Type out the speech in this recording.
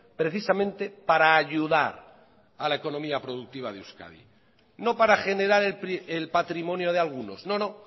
precisamente para ayudar a la economía productiva de euskadi no para generar el patrimonio de algunos no no